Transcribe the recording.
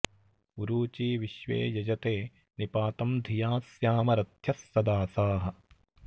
उ॒रू॒ची विश्वे॑ यज॒ते नि पा॑तं धि॒या स्या॑म र॒थ्यः॑ सदा॒साः